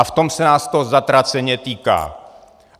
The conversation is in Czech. A v tom se nás to zatraceně týká.